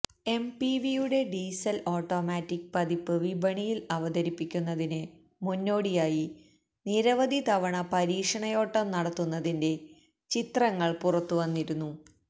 എംപിവിയുടെ diesel automatic പതിപ്പ് വിപണിയില് അവതരിപ്പിക്കുന്നതിന് മുന്നോടിയായി നിരവധി തവണ പരീക്ഷണയോട്ടം നടത്തുന്നതിന്റെ ചിത്രങ്ങള് പുറത്തുവന്നിരുന്നു